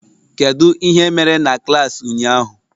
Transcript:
Kedu ihe mere na klas ụnyaahụ?